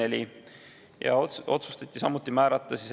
Ettekandjaks otsustati määrata mind.